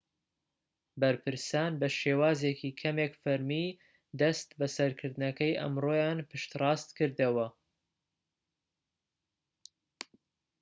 بەرپرسان بە شێوازێکی کەمێك فەرمی دەست بەسەرکردنەکەی ئەمڕۆیان پشتڕاست کردەوە